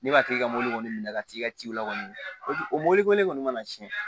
Ne b'a tigi ka mobili kɔni minɛ ka t'i ka ciw la kɔni o mɔbili ko ne kɔni mana tiɲɛ